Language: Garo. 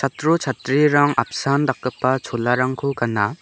chatro chatrirang apsan dakgipa cholarangko gana.